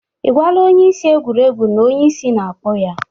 Ị gwala onye isi egwuregwu na onye isi na-akpọ ya?